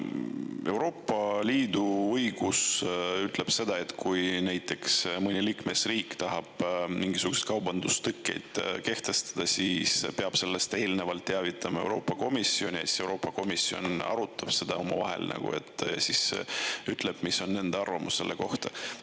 Euroopa Liidu õigus ütleb seda, et kui näiteks mõni liikmesriik tahab mingisuguseid kaubandustõkkeid kehtestada, siis peab sellest eelnevalt teavitama Euroopa Komisjonis ja Euroopa Komisjon arutab seda omavahel, ütleb, mis on nende arvamus selle kohta.